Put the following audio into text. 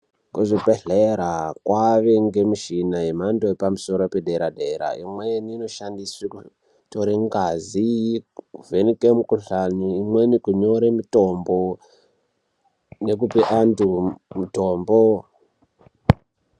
Kuzvibhehlera kwaave ngemichina yemhando yepamusoro yepadera-dera. Imweni inoshandiswe kutore ngazi, kuvheneki mukhuhlani, imweni kunyore mutombo nekupe antu mutombo nemukuwo wakatarwa.